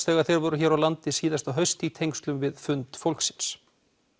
þegar þeir voru hér á landi í haust í tengslum við fund fólksins